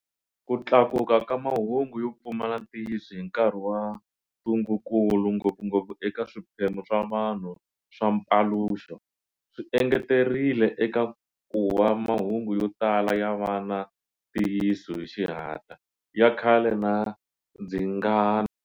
Ku tlakuka ka mahungu yo pfumala ntiyiso hi nkarhi wa ntungukulu, ngopfungopfu eka swiphemu swa vanhu swa mpaluxo, swi engeterile eka kuva mahungu yo tala ya va na ntiyiso hi xihatla, ya khale na ndzingano.